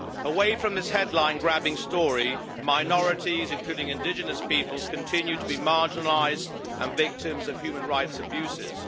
Away from his headline grabbing story, minorities including indigenous peoples continue to be marginalised and victims of human rights abuses.